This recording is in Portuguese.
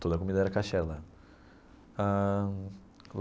Toda comida era kosher lá ãh.